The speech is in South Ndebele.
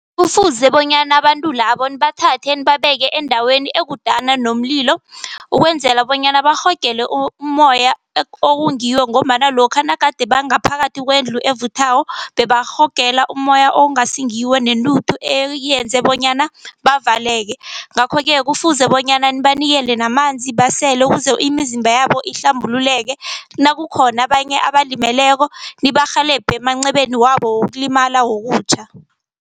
Kufuze bonyana abantu labo nibathathe nibabeke endaweni ekudana nomlilo. Ukwenzela bonyana bayirhogele umoya okungiwo ngombana lokha nagade bangaphakathi kwendlu evuthako bebarhogela umoya okungasingiwo, nentuthu eyenza bonyana bavaleke. Ngakho-ke kufuze bonyana nibanikele namanzi basele ukuze imizimba yabo ihlambululeke. Nakukhona abanye abalimeleko nibarhelebhe emancebeni wabo wokulimala wokutjha.